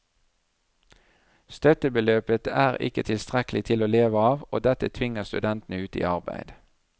Støttebeløpet er ikke tilstrekkelig til å leve av, og dette tvinger studentene ut i arbeid.